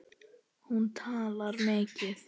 Hún talar mikið.